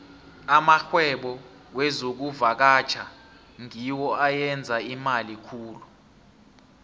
amarhwebo wezokuvakatjha ngiwo ayenza imali khulu